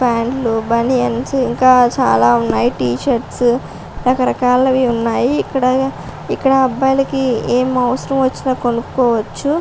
ఫాంట్లు బనియన్స్ ఇంకా చాలా ఉన్నాయి టీషర్ట్స్ రకరకాలవి ఉన్నాయి ఇక్కడ ఇక్కడ అబ్బాయిలకి ఏం అవసరం వచ్చినా కొనుక్కోవచ్చు.